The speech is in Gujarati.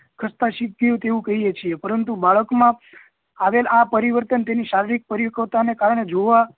ખસ્તા શીખ્યું તેવું કહીએ છીએ પરંતુ બાળક માં આવેલ આ પરિવર્તન તેની સર્વિક પરિવકવતા ને કારણે જોવા